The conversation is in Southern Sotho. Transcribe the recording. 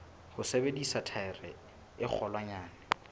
ho sebedisa thaere e kgolwanyane